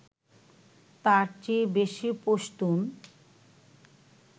তাঁর চেয়ে বেশি পশতুন